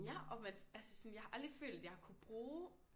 Ja og man altså sådan jeg har aldrig følt jeg har kunnet bruge